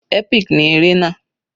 Epic ní eré náà.